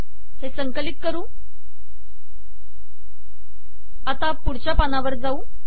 हे संकलित करू आता पुढच्या पानावर जाऊ